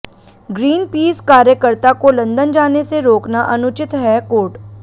Greenpeace कार्यकर्ता को London जाने से रोकना अनुचित हैः कोर्ट